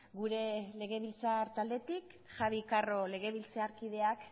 gure legebiltzar taldetik javi carro legebiltzarkideak